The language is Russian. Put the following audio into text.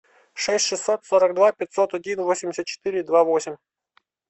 шесть шестьсот сорок два пятьсот один восемьдесят четыре два восемь